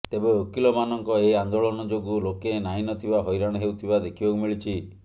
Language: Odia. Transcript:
ତେବେ ଓକିଲମାନଙ୍କ ଏହି ଆନ୍ଦୋଳନ ଯୋଗୁଁ ଲୋକେ ନାହିଁ ନଥିବା ହଇରାଣ ହେଉଥିବା ଦେଖିବାକୁ ମିଳିଛି